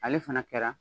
Ale fana kɛra